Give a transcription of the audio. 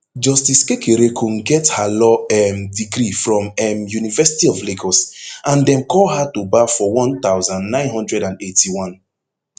justice kekereekun get her law um degree from um university of lagos and dem call her to bar for one thousand, nine hundred and eighty-one